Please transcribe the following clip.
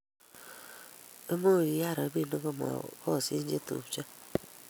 Much kuyai robik ko ma koschinio chetupyo